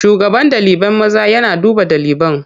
Shugaban ɗalibai maza yana duba ɗaliban.